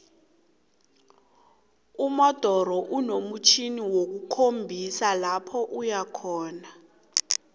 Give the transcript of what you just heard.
umodoro inomtjhjniwokukhombisa lopho ikhona